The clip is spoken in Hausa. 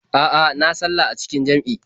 A'a, na sallah a cikin jam'i.